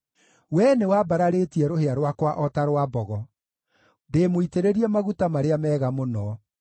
Wee nĩwambararĩtie rũhĩa rwakwa o ta rwa mbogo; ndĩĩmũitĩrĩrie maguta marĩa mega mũno.